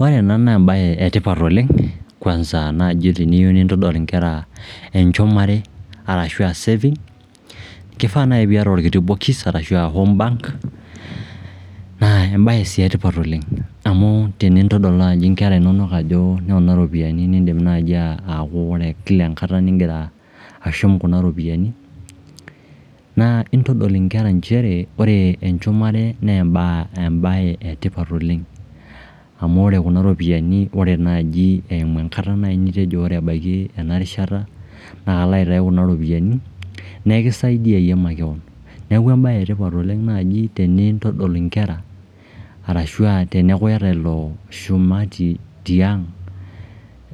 Ore ena naa embae e tipat oleng kwanza naaji teniyieu nintodol inkera enchumare arashu aa saving. Kifaa naai pee iyata orkiti bokis ashu home bank naa sii etipat oleng amu enintodol naaji inkera inonok ajo noona oropiyiani niindim naaji aku ore kila enkata nigira ashum kuna ropiyiani naa intodol inkera nchere ore enchumare naa embae e tipat oleng. Amu ore kuna ropiyiani, ore naaji enkata naai nitejo ore ebaiki ena rishata naa alo aitai kuna ropiyiani nekisaidia iyie makeon. Neeku embae etipat naaji oleng tenindodol inkera arashu aa teneeku iyata ilo shumati tiang',